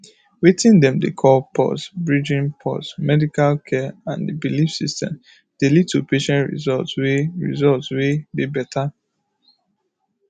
weting dem dey call pause bridging pause medical care and the belief systems dey lead to patient results wey results wey dey better